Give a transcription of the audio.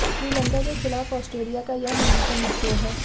श्रीलंका के खिलाफ ऑस्ट्रेलिया का यह न्यूनतम स्कोर है